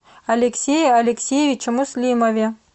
алексее алексеевиче муслимове